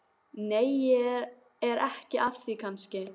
Nei, ég er ekki að því kannski.